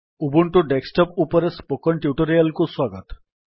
Ubuntu desktop ଉପରେ spoken tutorial କୁ ସ୍ୱାଗତ